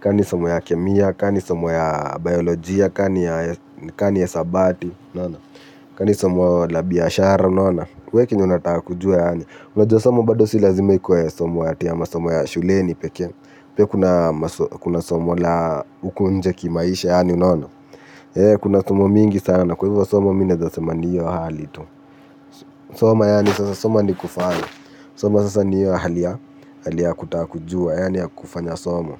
Ka ni somo ya kemia ka ni somo ya biologia ka ni ya hisabati unaona ka ni somo la biashara unaona we kenye unataka kujua yaani unajua somo bado si lazima ikuwe somo ati ya masomo ya shuleni pekee pia kuna somo la huku nje kimaisha yaani, unaona. Kuna somo mingi sana kwa hivyo somo mi naezasema ni hiyo hali tu. Soma yani sasa soma ni kufanya. Soma sasa ni hiyo hali ya kutaka kujua yaani ya kufanya somo.